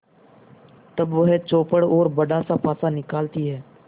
तब वह चौपड़ और बड़ासा पासा निकालती है